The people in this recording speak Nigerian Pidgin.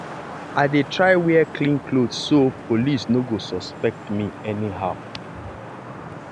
i dey try wear clean cloth so so police no go suspect me anyhow.